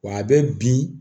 Wa a bɛ bin